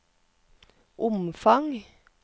omfang